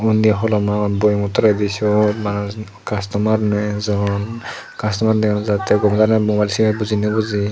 onde holom agon boyamo tolade seyot manus kastomar no ajon kastomar dega no jai ta goma dalay mobil say agey buje nay buje.